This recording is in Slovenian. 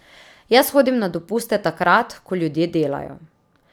Jaz hodim na dopuste takrat, ko ljudje delajo.